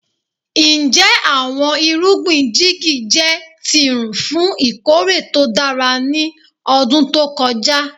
Njẹ awọn irugbin jigi jẹ tirun fun ikore to dara ni ọdun to kọja?